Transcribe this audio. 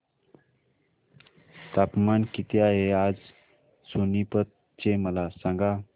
तापमान किती आहे आज सोनीपत चे मला सांगा